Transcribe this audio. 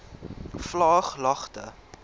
vlaaglagte